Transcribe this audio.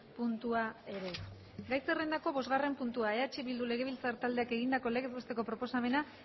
puntua ere gai zerrendako bostgarren puntua eh bildu legebiltzar taldeak egindako legez besteko proposamena